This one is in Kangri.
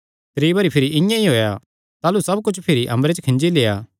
त्री बरी भिरी इआं ई होएया ताह़लू सब कुच्छ भिरी अम्बरे च खींजी लेआ